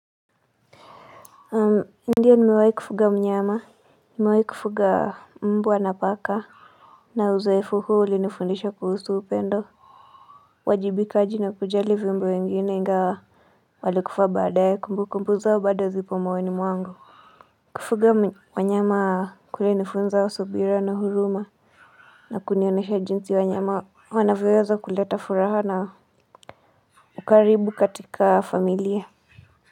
Ndio nimewahi kufuga mnyama, nimewahii kufuga mbwa na paka, na uzoefu huu ulinifundisha kuhusu upendo. Uwajibikaji na kujali viumbe wengine ingawa walikufa baadae, kumbukumbu zao bado zipo moyoni mwangu. Kufuga wanyama kule ilinifunza subira na huruma, na kunionyesha jinsi wanyama, wanavyoweza kuleta furaha na ukaribu katika familia.